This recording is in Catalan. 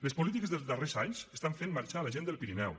les polítiques dels darrers anys estan fent marxar la gent del pirineu